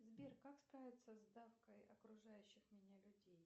сбер как справиться с давкой окружающих меня людей